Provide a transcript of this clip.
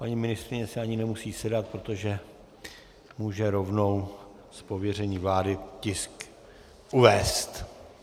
Paní ministryně si ani nemusí sedat, protože může rovnou z pověření vlády tisk uvést.